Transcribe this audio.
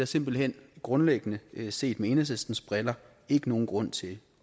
simpelt hen grundlæggende set med enhedslistens briller ikke nogen grund til